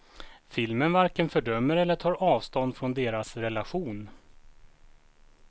Filmen varken fördömer eller tar avstånd från deras relation.